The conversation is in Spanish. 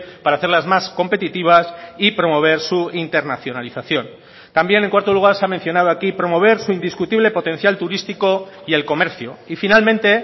para hacerlas más competitivas y promover su internacionalización también en cuarto lugar se ha mencionado aquí promover su indiscutible potencial turístico y el comercio y finalmente